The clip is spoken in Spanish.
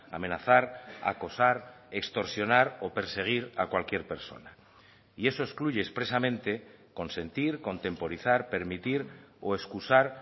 amenazar acosar extorsionar o perseguir a cualquier persona y eso excluye expresamente consentir contemporizar permitir o excusar